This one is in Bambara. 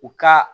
U ka